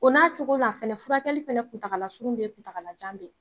O n'a cogo n'a fɛnɛ furakɛli fɛnɛ kuntagalasurun be ye kuntagalajan be ye.